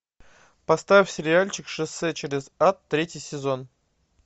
поставь сериальчик шоссе через ад третий сезон